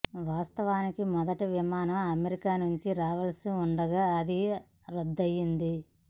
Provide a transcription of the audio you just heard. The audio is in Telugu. వాస్తవానికి మొదటి విమానం అమెరికా నుంచి రావాల్సి ఉండగా అది రద్దయ్యింది